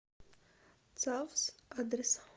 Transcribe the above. цавс адрес